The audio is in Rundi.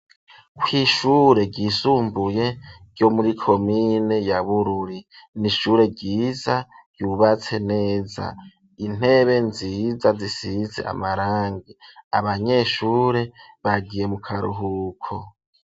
Kw'ishure ry'isumbuye ryo muri komine ya Bururi, n'ishure ryiza ryubatse neza, intebe nziza zisize amarangi, abanyeshure bagiye mu karuhuko.